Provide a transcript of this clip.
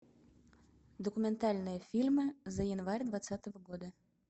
документальные фильмы за январь двадцатого года